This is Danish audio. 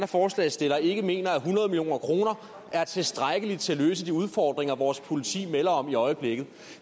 forslagsstillere ikke mener at hundrede million kroner er tilstrækkeligt til at løse de udfordringer vores politi melder om i øjeblikket